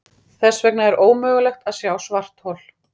Þess vegna er ómögulegt að sjá svarthol.